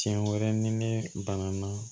Tiɲɛ wɛrɛ ni ne banana